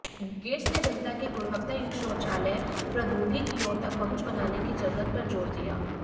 gets ने जनता की गुणवत्तायुक्त शौचालय प्रौद्योगिकियों तक पहुंच बनाने की जरूरत पर जोर दिया